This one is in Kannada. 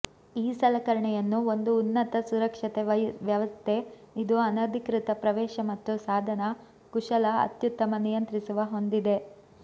ಈ ಸಲಕರಣೆಯನ್ನು ಒಂದು ಉನ್ನತ ಸುರಕ್ಷತೆ ವ್ಯವಸ್ಥೆ ಇದು ಅನಧಿಕೃತ ಪ್ರವೇಶ ಮತ್ತು ಸಾಧನ ಕುಶಲ ಅತ್ಯುತ್ತಮ ನಿಯಂತ್ರಿಸುವ ಹೊಂದಿದೆ